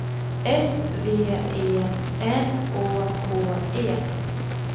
S V E N Å K E